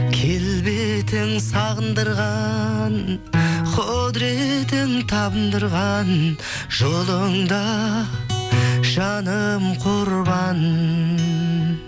келбетің сағындырған құдыретің табындырған жолыңда жаным құрбан